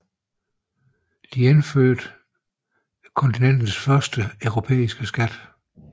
Det indførte kontinentets første europæiske skat